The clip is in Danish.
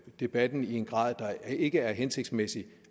debatten i en grad der ikke er hensigtsmæssig